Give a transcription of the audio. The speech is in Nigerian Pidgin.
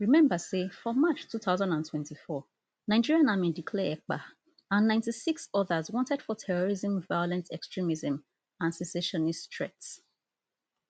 remember say for march two thousand and twenty-four nigerian army declare ekpa and ninety-six odas wanted for terrorism violent extremism and secessionist threats